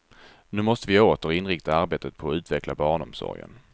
Nu måste vi åter inrikta arbetet på att utveckla barnomsorgen.